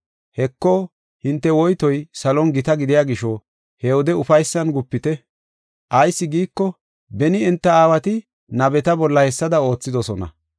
“Heko, hinte woytoy salon gita gidiya gisho he wode ufaysan gupite. Ayis giiko, beni enta aawati nabeta bolla hessada oothidosona.”